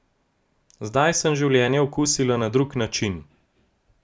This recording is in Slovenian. Zdaj sem življenje okusila na drug način.